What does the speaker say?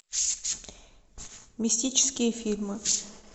мистические фильмы